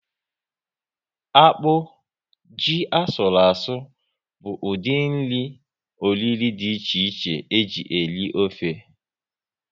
Akpụ, ji asụru asụ bụ ụdị nri oriro dị iche iche eji eri ofe